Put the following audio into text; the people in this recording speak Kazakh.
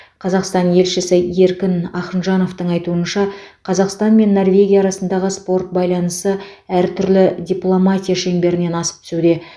қазақстан елшісі еркін ахынжановтың айтуынша қазақстан мен норвегия арасындағы спорт байланысы әр түрлі дипломатия шеңберінен асып түсуде